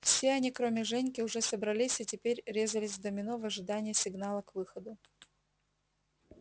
все они кроме женьки уже собрались и теперь резались в домино в ожидании сигнала к выходу